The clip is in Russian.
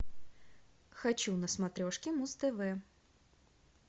хочу на смотрешке муз тв